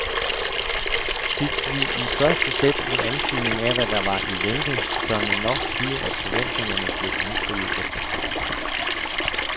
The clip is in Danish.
Fik vi i første sæt en antydning af hvad der var i vente, tør man nok sige at forventningerne blev indfriet efter pausen.